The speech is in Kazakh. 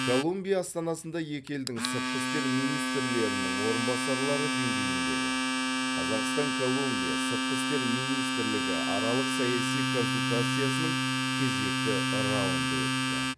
колумбия астанасында екі елдің сыртқы істер министрлерінің орынбасарлары деңгейіндегі қазақстан колумбия сыртқы істер министраралық саяси консультациясының кезекті раунды өтті